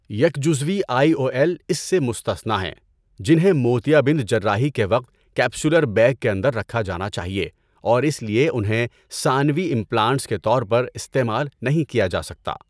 یک جزوی I O L S سے مستثنیٰ ہیں، جنہیں موتیابند جراحی کے وقت کیپسولر بیگ کے اندر رکھا جانا چاہیے اور اس لیے انہیں ثانوی امپلانٹس کے طور پر استعمال نہیں کیا جا سکتا۔